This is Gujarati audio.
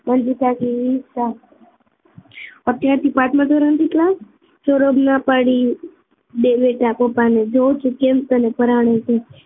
મંજુ કાકી ઈચ્છતા અત્યારથી પાંચમાં ધોરણથી ક્લાસ સૌરભ ના પાડી દે બેટા પપ્પાને જોવું છુ કેમ તને પરાણે છે